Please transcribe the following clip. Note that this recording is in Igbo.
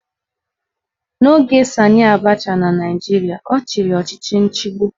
N'oge Sanị Abacha na Naijiria, ọ chịrị ọchịchị nchigbu